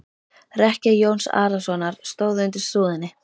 Rekkja Jóns Arasonar stóð undir súðinni.